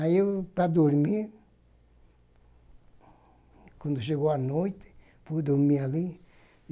Aí, para dormir, quando chegou a noite, fui dormir ali.